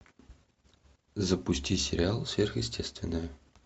запусти сериал сверхестественное